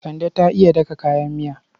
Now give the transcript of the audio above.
Kande ta iya daka kayan miya.